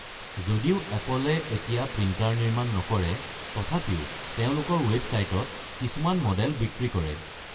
যদিও এপলে এতিয়া প্ৰিন্টাৰ নিৰ্মাণ নকৰে, তথাপিও তেওঁলোকৰ ৱেবছাইটত কিছুমান মডেল বিক্ৰী কৰে।